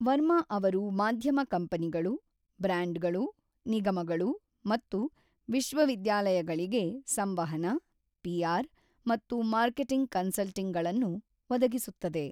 ವರ್ಮಾ ಅವರು ಮಾಧ್ಯಮ ಕಂಪನಿಗಳು, ಬ್ರ್ಯಾಂಡ್‌ಗಳು, ನಿಗಮಗಳು ಮತ್ತು ವಿಶ್ವವಿದ್ಯಾಲಯಗಳಿಗೆ ಸಂವಹನ, ಪಿಆರ್ ಮತ್ತು ಮಾರ್ಕೆಟಿಂಗ್ ಕನ್ಸಲ್ಟಿಂಗ್‌ಗಳನ್ನು ಒದಗಿಸುತ್ತದೆ.